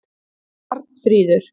Arnfríður